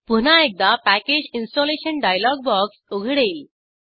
पुन्हा एकदा package installation dialog box उघडेल